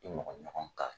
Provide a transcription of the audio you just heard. I mɔgɔ ɲɔgɔn ka